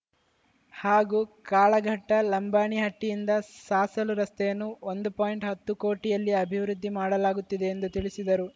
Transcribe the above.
ಹಾಗೂ ಕಾಳಘಟ್ಟಲಂಬಾಣಿಹಟ್ಟಿಯಿಂದ ಸಾಸಲು ರಸ್ತೆಯನ್ನು ಒಂದು ಪಾಯಿಂಟ್ ಹತ್ತು ಕೋಟಿಯಲ್ಲಿ ಅಭಿವೃದ್ದಿ ಮಾಡಲಾಗುತ್ತಿದೆ ಎಂದು ತಿಳಿಸಿದರು